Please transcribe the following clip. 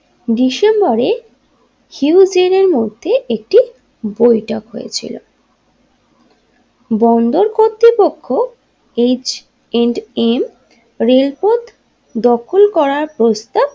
ডিসেম্বরে হিউজরের মধ্যে একটি বৈঠক হয়েছিল বন্দর কর্তৃপক্ষ এইচ এন্ড এন রেলপথ দখল করার প্রস্তাব।